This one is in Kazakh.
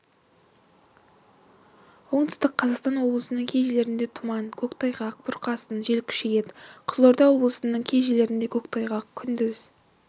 оңтүстік қазақстан облысының кей жерлерінде тұман көктайғақ бұрқасын жел күшейеді қызылорда облысының кей жерлерінде көктайғақ күндіз